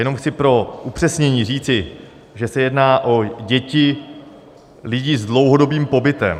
Jenom chci pro upřesnění říci, že se jedná o děti lidí s dlouhodobým pobytem.